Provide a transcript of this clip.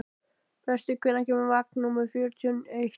Berti, hvenær kemur vagn númer fjörutíu og eitt?